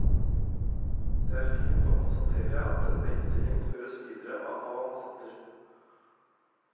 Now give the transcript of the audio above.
Det er fint å konstatere at denne innstilling føres videre av hans datter.